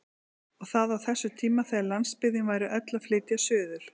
Og það á þessum tímum þegar landsbyggðin væri öll að flytja suður!